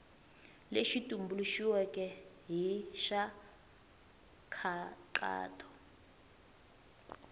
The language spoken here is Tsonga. lexi tumbuluxiweke i xa nkhaqato